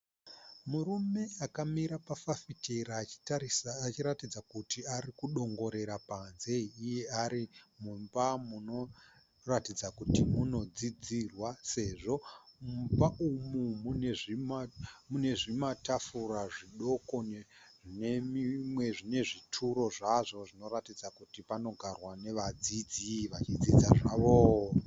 Murume akamira pafafitera achitarisa achiratidza kuti ari kudongorera panze huye ari mumba munoratidza kuti munodzidzirwa sezvo mumba umu mune zvimatafura zvidoko nezvituro zvazvo zvinoratidza kuti zvinogarirwa nevadzidzi vachidzidza zvavo.